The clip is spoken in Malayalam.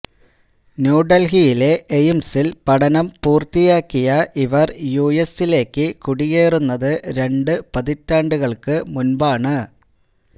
ന്യൂഡല്ഹിയിലെ എയിംസില് പഠനം പൂര്ത്തിയാക്കിയ ഇവര് യുഎസിലേക്ക് കുടിയേറുന്നത് രണ്ടു പതിറ്റാണ്ടുകള്ക്ക് മുന്പാണ്